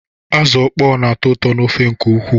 Azụ ọkpọ na-atọ ụtọ n'ofe nke ukwuu.